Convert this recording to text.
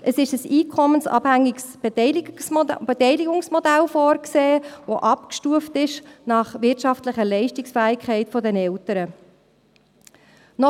Es ist ein einkommensabhängiges Beteiligungsmodell vorgesehen, das nach wirtschaftlicher Leistungsfähigkeit der Eltern abgestuft ist.